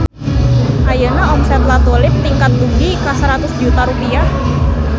Ayeuna omset La Tulip ningkat dugi ka 100 juta rupiah